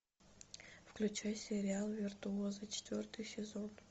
включай сериал виртуозы четвертый сезон